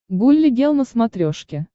гулли гел на смотрешке